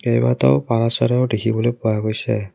কেইবাটাও পাৰ চৰাই দেখিবলৈ পোৱা গৈছে।